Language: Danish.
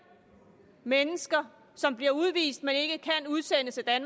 mennesker som bliver udvist men som ikke kan udsendes af